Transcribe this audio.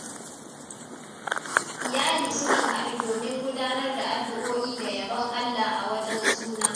Iyali sukan haɗu domin gudanar da addu’o’i da yabon Allah a wajen suna.